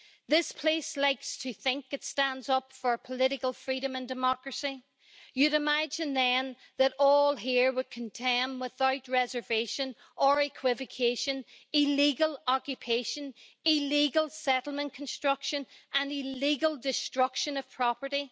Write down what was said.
This House likes to think it stands up for political freedom and democracy. You would imagine, then, that all here would condemn without reservation or equivocation illegal occupation, illegal settlement construction and illegal destruction of property.